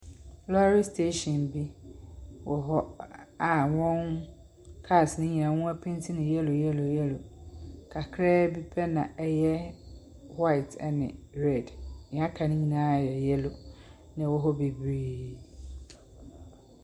Lorry station bi wɔ hɔ a wɔn cars no nyinaa wɔapenti no yellow yellow yellow, kakra bi pɛ na ɛyɛ white ne red. Nea aka no nyinaa yɛ yellow na ɛwɔ hɔ bebree.